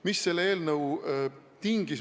Mis selle eelnõu tingis?